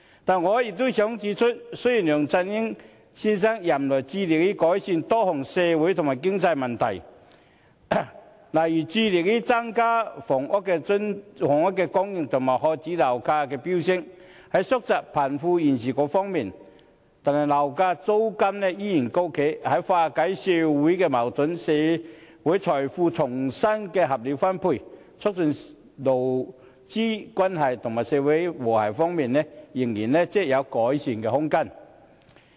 但我也想指出，雖然梁振英先生任內致力改善多項社會和經濟問題，如致力增加房屋供應及遏止樓價的飆升，以及縮窄貧富懸殊，但樓價租金依然高企，在化解社會矛盾、社會財富重新合理分配、促進勞資關係及社會和諧方面，仍然有改善空間。